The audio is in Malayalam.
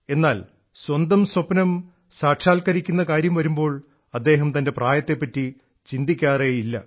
എന്നാൽ സ്വന്തം സ്വപ്നം സാക്ഷാത്കരിക്കുന്ന കാര്യം വരുമ്പോൾ അദ്ദേഹം തൻറെ പ്രായത്തെപ്പറ്റി ചിന്തിക്കാറേ ഇല്ല